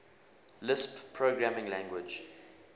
lisp programming language